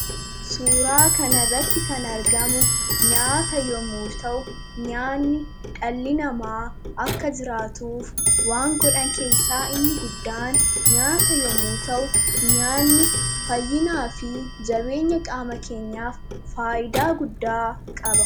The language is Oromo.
Suuraa kanarratti kan argamu nyaata yommuu ta'u nyaanni dhalli namaa akka jiraatuuf waan godhan keessaa inni guddaan nyaata yommuu ta'u nyaanni fayyinaa fi jabeenya qaama keenyaaf faayidaa guddaa qaba.